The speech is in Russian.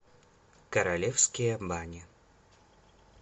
королевские бани